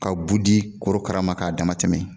Ka bu di korokara ma k'a damatɛmɛ